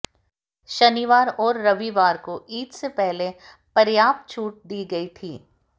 शनिवार और रविवार को ईद से पहले पर्याप्त छूट दी गई थी